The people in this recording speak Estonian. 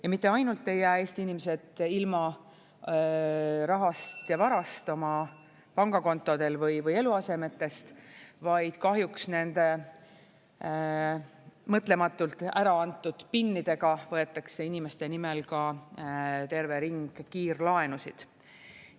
Ja mitte ainult ei jää Eesti inimesed ilma rahast ja varast oma pangakontodel või eluasemetest, vaid kahjuks nende mõtlematult ära antud PIN-idega võetakse inimeste nimel ka terve ring kiirlaenusid.